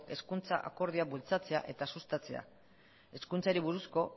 hezkuntza akordioak bultzatzea eta sustatzea hezkuntzari buruzko